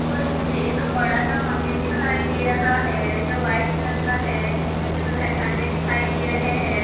उपर मुझे एक बड़ा सा मंदिर दिखाई दे रहा है जो वाइट कलर का है जिसमे कुछ झंडे दिखाई दे रहे है।